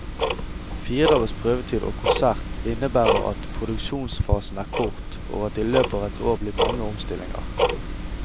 Fire dagers prøvetid og konsert innebærer at produksjonsfasen er kort, og at det i løpet av et år blir mange omstillinger.